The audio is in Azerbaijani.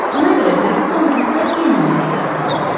Ona görə Ferquson burda enməməyə qərar almışdı.